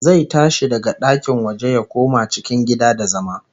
Zai tashi daga ɗakin waje ya koma cikin gida da zama